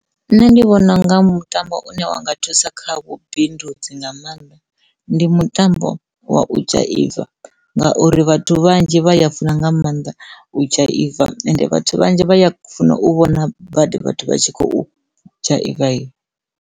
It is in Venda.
Nṋe ndi vhona unga mutambo une wa nga thusa kha vhubindudzi nga maanḓa ndi mutambo wa u dzhaiva ngauri vhathu vhanzhi vha ya funa nga maanḓa u dzhaiva ende vhathu vhanzhi vha ya funa u vhona badi vhathu vha tshi khou dzhaiva.